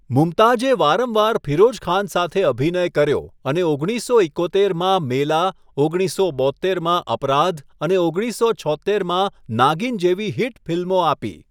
મુમતાઝે વારંવાર ફિરોઝ ખાન સાથે અભિનય કર્યો અને ઓગણીસસો એકોતેરમાં 'મેલા', ઓગણીસસો બોત્તેરમાં 'અપરાધ' અને ઓગણીસસો છોત્તેરમાં 'નાગિન' જેવી હિટ ફિલ્મો આપી.